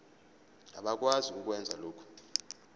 abakwazi ukwenza lokhu